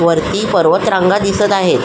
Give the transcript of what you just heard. वरती पर्वत रांगा दिसत आहे.